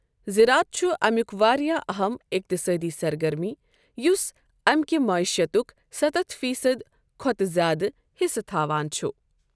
زرات چھُ اَمیُک واریٛاہ اَہَم اقتصٲدی سرگرمی، یُس اَمیٚکہِ معیشتُک ستتھ فی صد کھۄتہٕ زِیٛادٕ حِصہٕ تھاوان چھُ۔ ۔